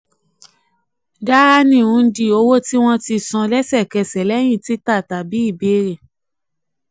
dahani hundi: owó tí wọ́n tí wọ́n san lẹ́sẹ̀kẹsẹ̀ lẹ́yìn títà tàbí ìbéèrè.